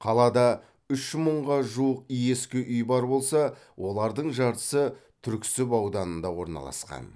қалада үш мыңға жуық ескі үй бар болса олардың жартысы түрксіб ауданында орналасқан